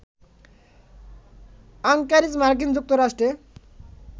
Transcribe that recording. Anchorage মার্কিন যুক্তরাষ্ট্রে